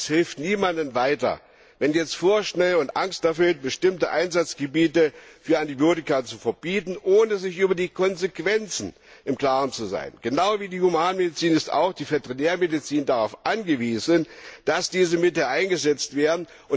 Aber es hilft niemandem weiter, jetzt vorschnell und angsterfüllt bestimmte Einsatzgebiete für Antibiotika zu verbieten, ohne sich über die Konsequenzen im Klaren zu sein. Genau wie die Humanmedizin ist auch die Veterinärmedizin darauf angewiesen, dass diese Mittel eingesetzt werden.